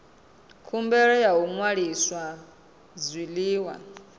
khumbelo ya u ṅwalisa zwiḽiwa